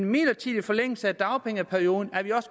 midlertidig forlængelse af dagpengeperioden